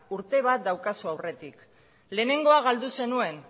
urte bat daukazu aurretik lehenengoa galdu zenuen